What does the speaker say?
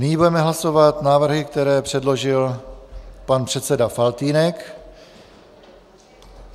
Nyní budeme hlasovat návrhy, které předložil pan předseda Faltýnek.